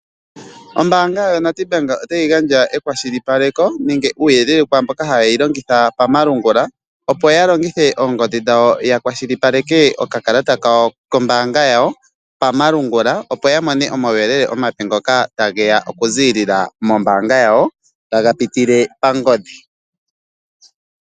Ombaanga yoNedbank otayi gandja ekwashilipaleko nenge uuyelele kwaamboka tayi longithwa pomalungula okakalata kayo kombaanga yayo pomalungula opo ya mone omawuyelele omape ngoka tageya okuziilila mombaanga yawo taga pitule pangodhi